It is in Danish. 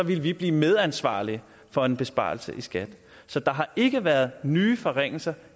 ville vi blive medansvarlige for en besparelse i skat så der har ikke været nye forringelser